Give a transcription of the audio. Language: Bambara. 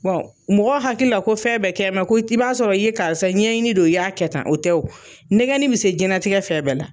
mɔgɔ hakili la ko fɛn bɛɛ kɛn bɛ ko i b'a sɔrɔ i ye karisa ye ɲɛɲini don y'a kɛ tan, o tɛ nɛgɛnni bɛ se diɲɛlatigɛ fɛn bɛɛ la.